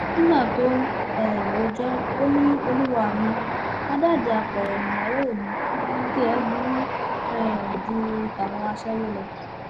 nígbà tó ń um rojọ o ni olúwa mi àdádì apẹrẹ níyàwó mi tiẹ burú um ju tàwọn aṣẹwó lọ